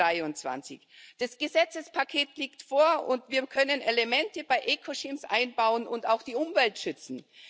2023. Das Gesetzespaket liegt vor, und wir können Elemente bei eco schemes einbauen und auch die Umwelt schützen.